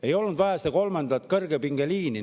Ei olnud vaja seda kolmandat kõrgepingeliini.